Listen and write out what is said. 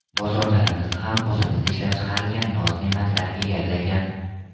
Bozorlarimizni ham o‘zimizda ishlab chiqarilgan noz-ne’matlar egallagan.